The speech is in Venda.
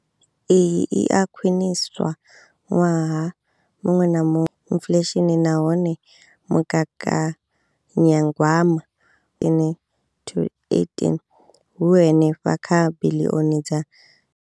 Iyi i a khwiniswa ṅwaha muṅwe na muṅwe inflesheni nahone mugaganya gwama ine 2018 u henefha kha biḽioni dza.